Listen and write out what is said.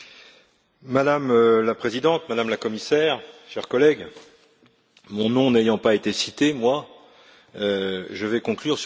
Madame la Présidente, Madame la Commissaire, chers collègues, mon nom n'ayant pas été cité, je vais conclure sur le fond.